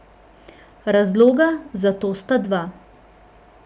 Razloga za to sta dva.